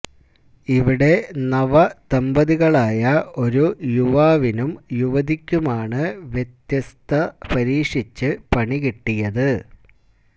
ഇവിടെ നവദമ്പതികളായ ഒരു യുവാവിനും യുവതിക്കുമാണ് വ്യത്യസ്തത പരീക്ഷിച്ച് പണികിട്ടിയത്